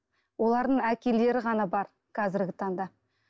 олардың әкелері ғана бар қазіргі таңда